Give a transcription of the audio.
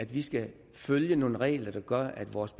vi skal følge nogle regler der gør at vores